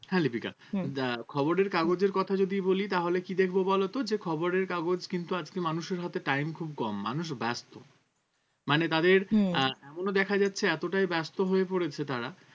হ্যাঁ লিপিকা হম আহ খবরের কাগজের কথা যদি বলি তাহলে কি দেখব বলতো যে খবরের কাগজ কিন্তু আজকে মানুষের হাতে time খুব কম মানুষ ব্যস্ত মানে তাদের হম আহ এমনও দেখা যাচ্ছে এতটাই ব্যস্ত হয়ে পড়েছে তারা